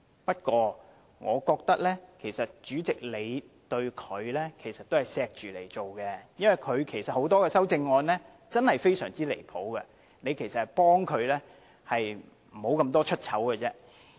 不過，我覺得主席你對他仍存有愛護之心，因為他很多項修正案實在很離譜，你其實是幫了他，不致頻頻出醜而已。